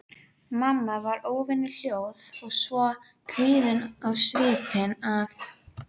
Þannig var þjóðskáldi og ástmegi þjóðarinnar lýst sumarið